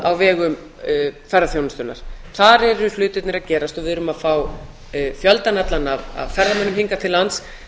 á vegum ferðaþjónustunnar þar eru hlutirnir að gerast og við erum að fá fjöldann allan af ferðamönnum hingað til lands